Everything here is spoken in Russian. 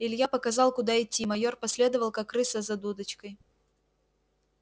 илья показал куда идти майор последовал как крыса за дудочкой